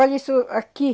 Olha isso aqui.